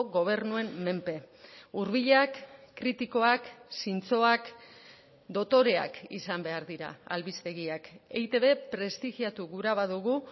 gobernuen menpe hurbilak kritikoak zintzoak dotoreak izan behar dira albistegiak eitb prestigiatu gura badugu